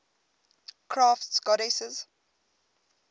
crafts goddesses